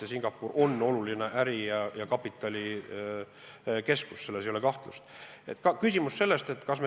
Ja Singapur on oluline äri- ja kapitalikeskus, selles ei ole kahtlust.